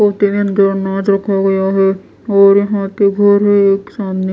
यहां पर रखा गया है और यहां पे घर है एक सामने।